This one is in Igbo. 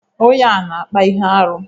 Onye a na-akpa ihe arụ.